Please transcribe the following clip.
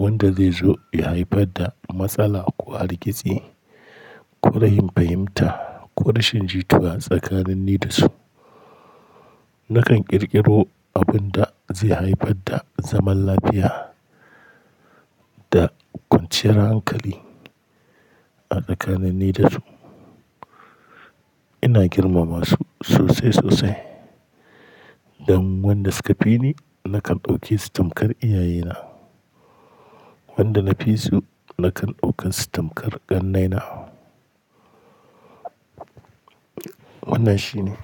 wanda zai zo ya haifar da matsala ko hargitsi ko rashin fahimta ko rashin jituwa tsakanin ni da su. Nakan ƙirƙiro abin da zai haifar da zaman lafiya da kwanciyar hankali a tsakanin ni da su. Ina girmama su sosai-sosai, dan wanda suka fi ni nakan ɗauke su tamkar iyaye na, wanda na fi su nakan ɗauke su tamkar ƙannai na. Wannan shine.